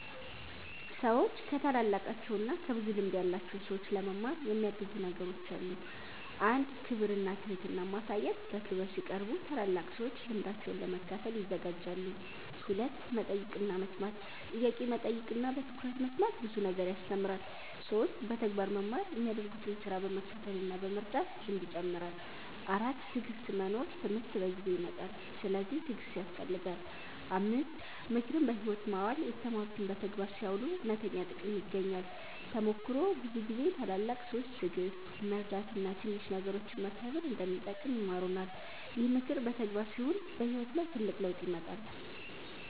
ሰዎች ከታላላቃቸው እና ከብዙ ልምድ ያላቸው ሰዎች ለመማር የሚያግዙ ነገሮች አሉ። 1. ክብር እና ትህትና ማሳየት በክብር ሲቀርቡ ታላላቅ ሰዎች ልምዳቸውን ለመካፈል ይዘጋጃሉ። 2. መጠየቅ እና መስማት ጥያቄ መጠየቅ እና በትኩረት መስማት ብዙ ነገር ያስተምራል። 3. በተግባር መማር የሚያደርጉትን ስራ በመከተል እና በመርዳት ልምድ ይጨምራል። 4. ትዕግሥት መኖር ትምህርት በጊዜ ይመጣል፤ ስለዚህ ትዕግሥት ያስፈልጋል። 5. ምክርን በሕይወት ማዋል የተማሩትን በተግባር ሲያውሉ እውነተኛ ጥቅም ይገኛል። ተሞክሮ ብዙ ጊዜ ታላላቅ ሰዎች ትዕግሥት፣ መርዳት እና ትንሽ ነገሮችን መከብር እንደሚጠቅም ይማሩናል። ይህ ምክር በተግባር ሲውል በሕይወት ላይ ትልቅ ለውጥ ያመጣል።